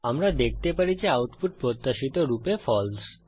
আমরা দেখতে পারি যে আউটপুট প্রত্যাশিত রূপে ফালসে